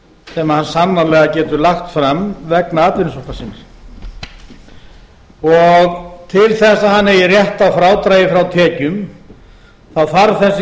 sem hann sannarlega getur lagt fram vegna atvinnusóknar sinnar til þess að hann eigi rétt á frádragi frá tekjum þarf þessi kostnaður